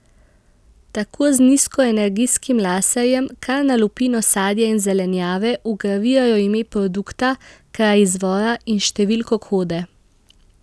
Tako z nizkoenergijskim laserjem kar na lupino sadja in zelenjave vgravirajo ime produkta, kraj izvora in številko kode.